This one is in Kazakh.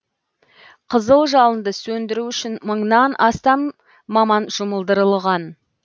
қызыл жалынды сөндіру үшін мыңнан астам маман жұмылдырылған